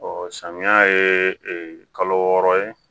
samiya ye kalo wɔɔrɔ ye